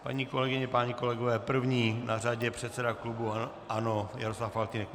Paní kolegyně, páni kolegové, první na řadě předseda klubu ANO Jaroslav Faltýnek.